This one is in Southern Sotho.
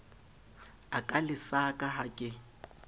a ka lesaka ha ke